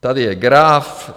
Tady je graf.